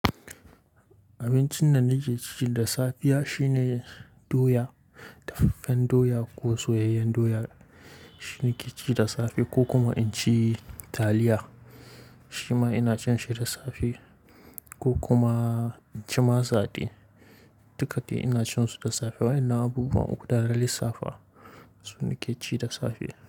Abincin da nake ci da safiya shine doya, daffen doya ko soyayyen doya shine ke ci da safe ko kuma in ci taliya shima ina cin shi da safe ko kuma in ci masa dai, duka ina cin su da safe. Wai ina abubuwa uku daran da safe su nake ci da safe.